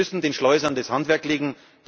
Wir müssen den Schleusern das Handwerk legen.